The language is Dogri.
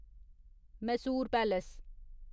मैसूर पैलेस